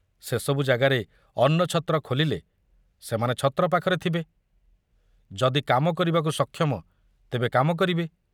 ସେ ସବୁ ଜାଗାରେ ଅନ୍ନଛତ୍ର ଖୋଲିଲେ ସେମାନେ ଛତ୍ର ପାଖରେ ଥିବେ, ଯଦି କାମ କରିବାକୁ ସକ୍ଷମ, ତେବେ କାମ କରିବେ।